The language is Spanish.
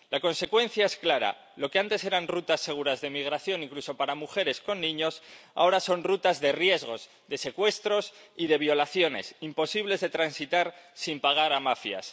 La consecuencia es clara las que antes eran rutas seguras de migración incluso para mujeres con niños, ahora son rutas de riesgos, de secuestros y de violaciones, imposibles de transitar sin pagar a mafias.